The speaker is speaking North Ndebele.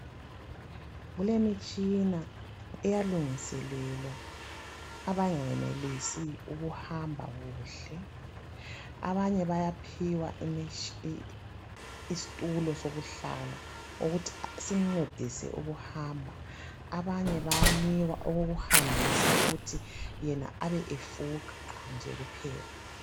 Kulemitshina eyalungiselelwa abangayenelisi ukuhamba kuhle. Abanye bayaphiwa imitshina isitulo sokuhlala ukuthi simncedise ukuhamba. Abanye bayanikwa okokuhambisa ukuthi yena abe efuqa nje kuphela.